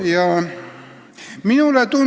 Kolm minutit juurde.